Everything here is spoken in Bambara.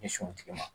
Ɲɛsin tigi ma